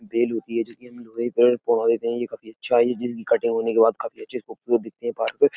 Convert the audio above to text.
Bell होती है जिसकी हम लोहे पर यह काफ़ी अच्छा है जिनकी कटिंग होने के बाद काफी अच्छे से खूबसूरत दिखती है। --